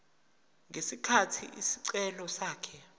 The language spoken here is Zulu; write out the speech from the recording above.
ngesikhathi isicelo sakhe